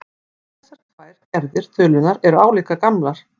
Þessar tvær gerðir þulunnar eru álíka gamlar.